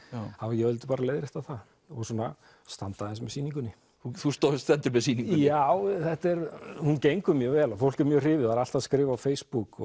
ég vildi bara leiðrétta það og svona standa aðeins með sýningunni þú stendur með sýningunni já hún gengur mjög vel fólk er mjög hrifið og er alltaf að skrifa á Facebook